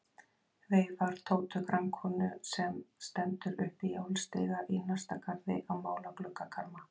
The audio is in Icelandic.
Veifar Tótu grannkonu sem stendur uppi í álstiga í næsta garði að mála gluggakarma.